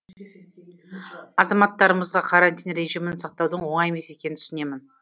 азаматтарымызға карантин режимін сақтаудың оңай емес екенін түсінемін